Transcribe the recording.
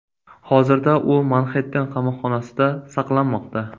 Hozirda u Manxetten qamoqxonasida saqlanmoqda.